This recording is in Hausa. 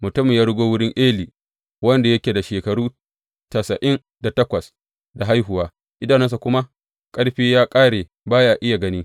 Mutumin ya rugo wurin Eli, wanda yake da shekaru tasa’in da takwas da haihuwa, idanunsa kuma ƙarfi ya ƙare, baya iya gani.